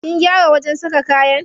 Kin gyara wajen saka kayan?